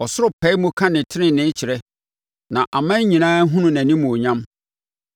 Ɔsoro pae mu ka ne tenenee kyerɛ na aman nyinaa hunu nʼanimuonyam.